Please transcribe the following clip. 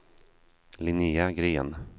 Linnéa Gren